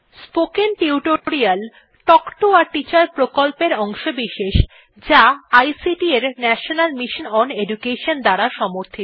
spoken tutorial talk to a teacher প্রকল্পের অংশবিশেষ যা আইসিটি এর ন্যাশনাল মিশন ওন এডুকেশন দ্বারা সমর্থিত